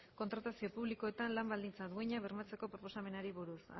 kontratazio publikoetan lan baldintza duinak bermatzeko proposamenei buruz